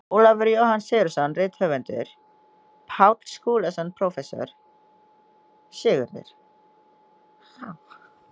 Ólafur Jóhann Sigurðsson rithöfundur, Páll Skúlason prófessor, Sigurður